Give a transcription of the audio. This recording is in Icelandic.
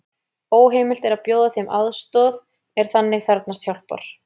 Óheimilt er að bjóða þeim aðstoð er þannig þarfnast hjálpar.